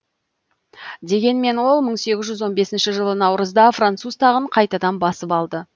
дегенмен ол мың сегіз жүз он бесінші жылы наурызда француз тағын қайтадан басып алды